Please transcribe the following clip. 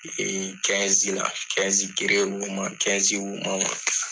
Ee la, kelen wo ma , wo ma ma..